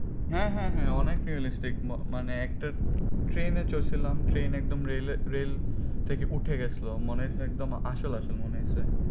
হ্যাঁ হ্যাঁ হ্যাঁ অনেক realistic মানে একটা train এ চড়ছিলাম train একদম rail এ rail থেকে উঠে গেছিলো মনে হয়েছে একদম আসল আসল মনে হয়েছে